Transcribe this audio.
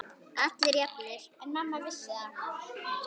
Allir jafnir.